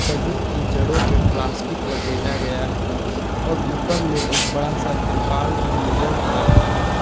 सभी की जड़ों पे प्लास्टिक लपेटा गया है और ऊपर में एक बड़ा सा तिरपाल भी नजर आ रहा है।